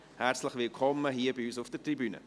Herzlich willkommen hier bei uns auf der Tribüne.